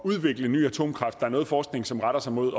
udvikle ny atomkraft og noget forskning som retter sig mod